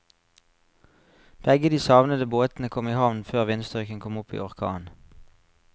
Begge de savnede båtene kom i havn før vindstyrken kom opp i orkan.